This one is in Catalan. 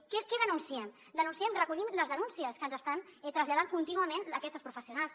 què denunciem denunciem recollim les denúncies que ens estan traslladant contínuament aquestes professionals